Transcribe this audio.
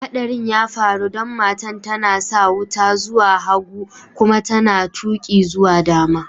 Hatsarin ya faru dan matan ta na sa wuta zuwa hagu kuma ta na tuki zuwa dama.